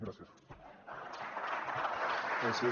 gràcies